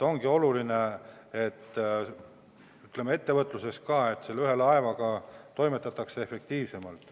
Ongi ettevõtluses oluline, et ühe laevaga toimetatakse efektiivsemalt.